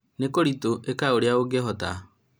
nĩkũritũ, ĩka ũrĩa ũngĩhota